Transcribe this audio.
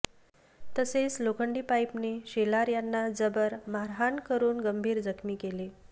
तसेच लोखंडी पाईपने शेलार यांना जबर मारहाण करुन गंभीर जखमी केले